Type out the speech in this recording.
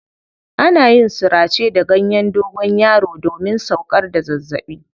Ana yin surace da ganyen dogonyaro domin sauƙar da zazzaɓi.